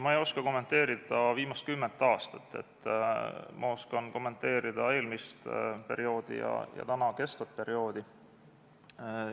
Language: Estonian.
Ma ei oska kommenteerida viimast kümmet aastat, ma oskan kommenteerida eelmist perioodi ja kestvat perioodi.